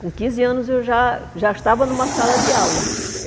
Com quinze anos, eu já já estava numa sala de aula.